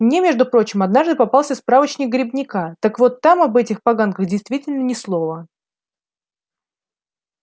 мне между прочим однажды попался справочник грибника так вот там об этих поганках действительно ни слова